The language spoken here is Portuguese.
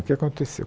O que aconteceu?